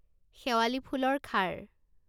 শেৱালী ফুলৰ খাৰ